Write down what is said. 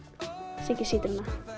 Siggi sítróna